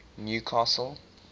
newcastle